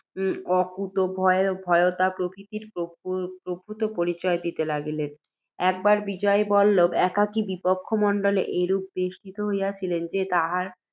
অকুতোভয়তা প্রভৃতির প্রভূত পরিচয় দিতে লাগিলেন। একবার বিজয়বল্লভ একাকী বিপক্ষমণ্ডলে এরূপে বেষ্টিত হইয়াছিলেন, যে তাঁহার